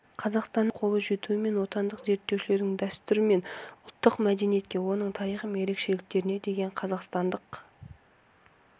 қазақстанның тәуелсіздікке қолы жетуімен отандық зерттеушілердің дәстүр мен ұлттық мәдениетке оның тарихы мен ерекшеліктеріне деген қазақстандық